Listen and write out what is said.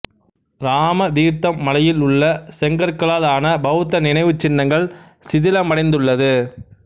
ராமதீர்த்தம் மலையில் உள்ள செங்கற்களால் ஆன பௌத்த நினைவுச் சின்னங்கள் சிதிலமடைந்துள்ளது